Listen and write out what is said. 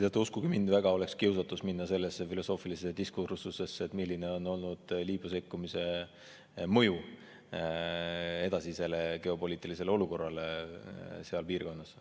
Teate, uskuge mind, väga suur kiusatus oleks minna sellesse filosoofilisse diskursusesse, et milline on olnud Liibüas sekkumise mõju geopoliitilisele olukorrale seal piirkonnas.